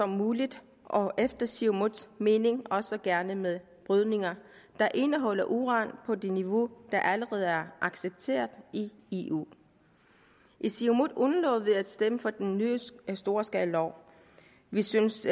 muligt og efter siumuts mening også gerne med brydning der indeholder uran på det niveau der allerede er accepteret i eu i siumut undlod vi at stemme for den nye storskalalov vi syntes